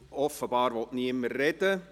Offenbar will niemand sprechen.